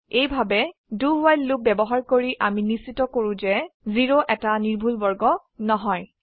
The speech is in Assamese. এইভাবে do ৱ্হাইল লুপ ব্যবহাৰ কৰি আমি নিশ্চিত কৰো যে 0 এটা নিৰ্ভুল বৰ্গ নহয়